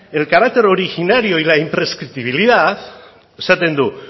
el carácter originario y la imprescriptibilidad esaten du